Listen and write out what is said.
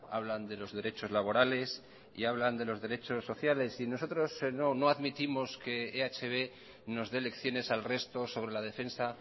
hablan de los derechos laborales y hablan de los derechos sociales y nosotros no admitimos que ehb nos dé lecciones al resto sobre la defensa